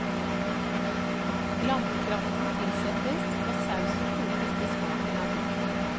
Lammekraften tilsettes, og sausen kokes til smaken er god.